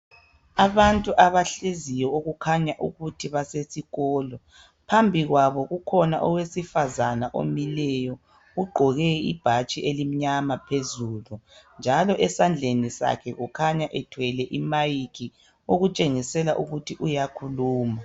Abantu abahleziyo okukhanya ukuthi basesikolo phambili kwabo kukhona owesifazana omileyo, ugqoke ibhatshi elimnyama phezulu njalo esandleni sakhe kukhanya ethwele imayikhi okutshengisela ukuthi uyakhuluma.